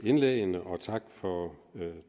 indlæggene og tak for